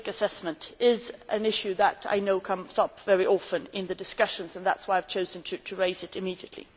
Risk assessment is an issue that I know comes up very often in the discussions and that is why I have chosen to raise it immediately.